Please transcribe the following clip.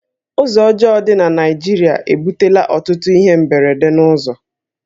Ụzọ ọjọọ dị na Naịjirịa ebutela ọtụtụ ihe mberede n'ụzọ